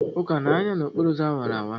Uka na-anya n'okporo ụzọ awara awara?